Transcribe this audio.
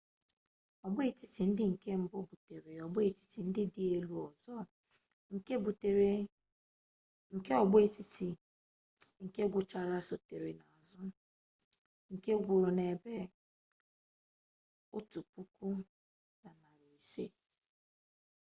ọgbọ etiti ndị nke mbụ butere ọgbọ etiti ndị dị elu ụzọ nke ọgbọ etiti nke ngwụcha sotere n'azụ nke gwuru ebe 1500